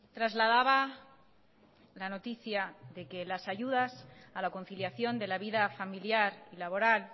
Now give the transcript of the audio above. trasladaba la noticia de que las ayudas a la conciliación de la vida familiar y laboral